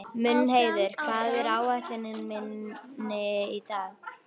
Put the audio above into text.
Mundheiður, hvað er á áætluninni minni í dag?